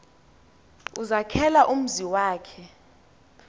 ezakhela umzi wakhe